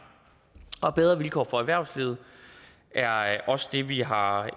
bedre vilkår for erhvervslivet er også det vi har